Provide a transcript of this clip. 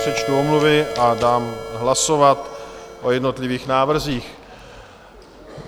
Přečtu omluvy a dám hlasovat o jednotlivých návrzích.